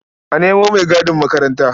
A nemo maigadin makaranta.